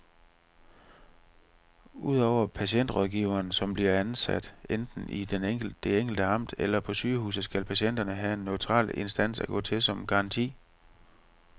Ud over patientrådgiveren, som bliver ansat enten i det enkelte amt eller på sygehuset, skal patienterne have en neutral instans at gå til som garanti.